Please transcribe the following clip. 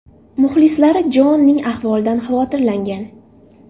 Muxlislari Joanning ahvolidan xavotirlangan.